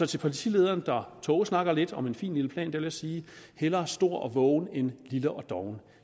til partilederen der tågesnakker lidt om en fin lille plan vil jeg sige hellere stor og vågen end lille og doven